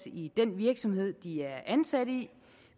i den virksomhed de er ansat i